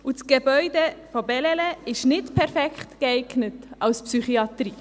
Das Gebäude von Bellelay ist nicht perfekt geeignet für eine Psychiatrie.